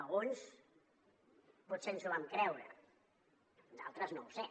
alguns potser ens ho vam creure d’altres no ho sé